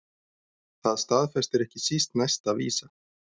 Það staðfestir ekki síst næsta vísa